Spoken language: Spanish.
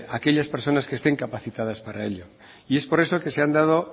aquellas personas que estén capacitadas para ello y es por eso que se han dado